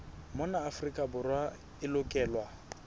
mona afrika borwa e lokelwa